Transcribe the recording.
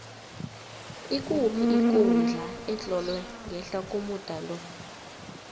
ikuphi ikundla etlolwe ngehla komuda lo